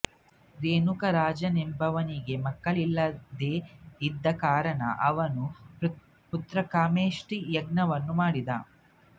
ರೇಣುಕಾ ರಾಜನೆಂಬುವವನಿಗೆ ಮಕ್ಕಳಿಲ್ಲದೇ ಇದ್ದ ಕಾರಣ ಅವನು ಪುತ್ರಕಾಮೇಷ್ಟಿ ಯಾಗವನ್ನು ಮಾಡಿದ